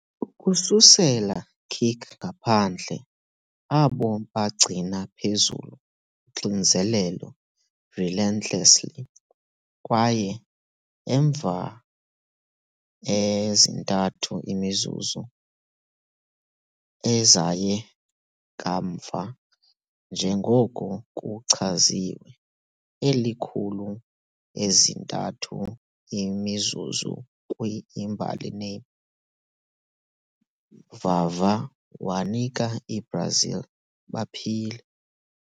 Ukususela kick-ngaphandle, abo bagcina phezulu uxinzelelo relentlessly, kwaye emva ezintathu imizuzu, ezaye kamva njengoko kuchaziwe "elikhulu ezintathu imizuzu kwi-imbali name", Vavá wanika i-Brazil baphile.